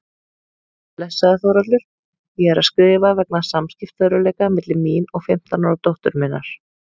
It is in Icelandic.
Blessaður Þórhallur, ég er að skrifa vegna samskiptaörðugleika milli mín og fimmtán ára dóttur minnar.